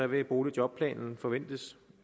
vil boligjobplanen kunne forventes